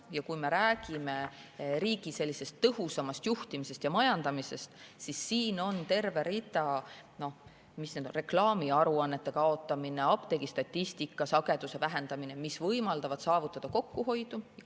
Ja kui me räägime riigi tõhusamast juhtimisest ja majandamisest, siis siin on terve rida meetmeid – reklaamiaruannete kaotamine, apteegistatistika esitamise sageduse vähendamine –, mis võimaldavad kokkuhoidu saavutada.